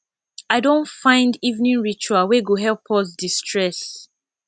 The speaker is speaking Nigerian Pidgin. i don find evening ritual wey go help us destress